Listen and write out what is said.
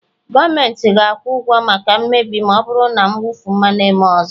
gọọmentị ga-akwụ ụgwọ maka mmebi ma ọ bụrụ na mwụfu mmanụ emee ọzọ